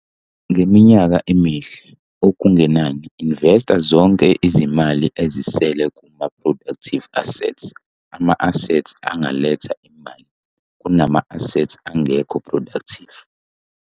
Ngeminyaka emihle, okungenani investa zonke izimali ezisele kuma-productive assets - ama-assets angaletha imali - kunama-assets angekho productive.